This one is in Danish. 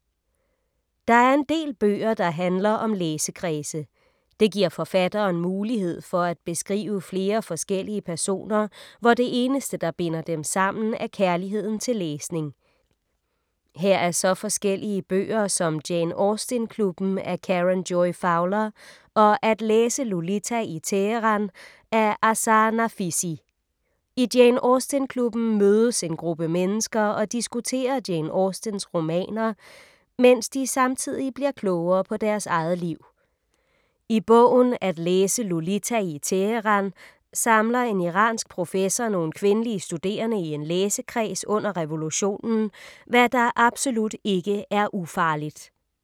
Der er en del bøger, der handler om læsekredse. Det giver forfatteren mulighed for at beskrive flere forskellige personer, hvor det eneste, der binder dem sammen er kærligheden til læsning. Her er så forskellige bøger som Jane Austen-klubben af Karen Joy Fowler og At læse Lolita i Teheran af Azar Nafisi. I Jane Austen-klubben mødes en gruppe mennesker og diskuterer Jane Austens romaner, mens de samtidig bliver klogere på deres eget liv. I bogen At læse Lolita i Teheran samler en iransk professor nogle kvindelige studerende i en læsekreds under revolutionen, hvad der absolut ikke er ufarligt.